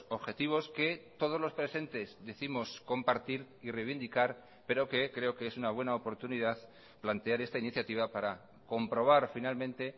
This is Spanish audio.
objetivos que todos los presentes décimos compartir y reivindicar pero que creo que es una buena oportunidad plantear esta iniciativa para comprobar finalmente